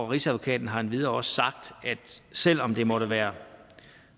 rigsadvokaten har endvidere også sagt at selv om det måtte være